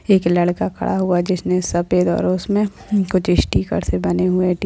एक लड़का खड़ा हुआ है जिसने सफेद और उसमें कुछ स्टीकर से बने हुए--